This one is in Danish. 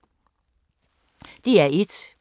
DR1